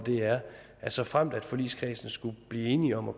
er såfremt forligskredsen skulle blive enig om at